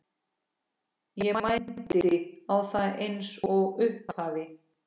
Ég mændi á það eins og upphafinn.